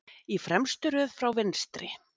Í fremstu röð frá vinstri